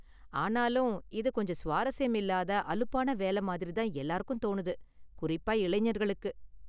ஆனாலும், இது கொஞ்சம் சுவாரஸ்யமில்லாத அலுப்பான வேலை மாதிரி எல்லாருக்கும் தோணுது, குறிப்பா இளைஞர்களுக்கு.